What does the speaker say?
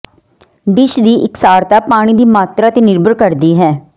dish ਦੀ ਇਕਸਾਰਤਾ ਪਾਣੀ ਦੀ ਮਾਤਰਾ ਤੇ ਨਿਰਭਰ ਕਰਦੀ ਹੈ